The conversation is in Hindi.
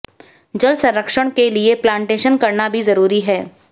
जल संरक्षण के लिए प्लांटेशन करना भी जरूरी है